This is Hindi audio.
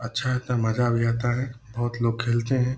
अच्छा है तो मज़ा भी आता है बहुत लोग खेलते है।